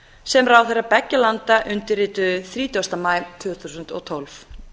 sem ráðherrar beggja landa undirrituðu þrítugasta maí tvö þúsund og tólf